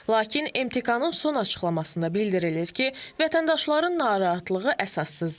Lakin MTK-nın son açıqlamasında bildirilir ki, vətəndaşların narahatlığı əsassızdır.